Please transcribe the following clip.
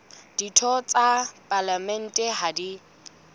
ditho tsa palamente ha di